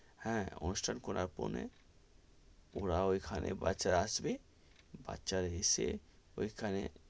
হ্যা, অনুষ্ঠান করার পরে ওরা ওইখানে বাচ্চা রা আসবে বাচ্চা রা এসে, ওইখানে.